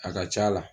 A ka c'a la